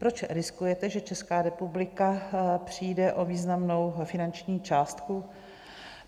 Proč riskujete, že Česká republika přijde o významnou finanční částku?